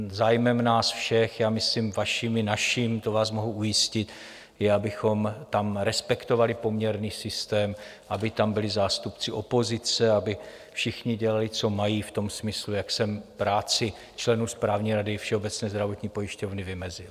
Zájmem nás všech, já myslím vaším i naším, to vás mohu ujistit, je, abychom tam respektovali poměrný systém, aby tam byli zástupci opozice, aby všichni dělali, co mají, v tom smyslu, jak jsem práci členů Správní rady Všeobecné zdravotní pojišťovny vymezil.